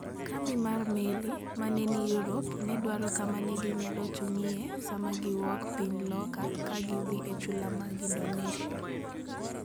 Kambi mar meli ma ne ni Europe ne dwaro kama ne ginyalo chung'ie sama giwuok Piny loka ka gidhi e chula mag Indonesia.